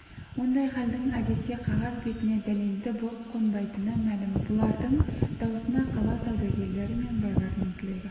ондай халдің әдетте қағаз бетіне дәлелді боп қонбайтыны мәлім бұлардың даусына қала саудагерлері мен байларының тілегі